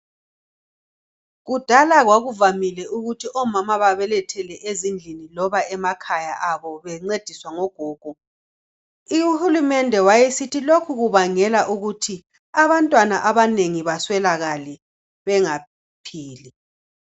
Kudala kwakuvamile ukuthi omama babelethele ezindlini loba emakhaya abo bencediswa ngogogo, uhulumende waye sithi lokhu kubangela ukuthi abantwana abanengi baswelakale bengaphili.